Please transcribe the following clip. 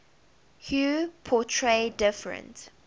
hue portray different